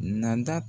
Nada